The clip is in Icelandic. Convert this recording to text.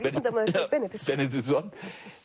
vísindamaður Benediktsson Benediktsson